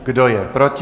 Kdo je proti?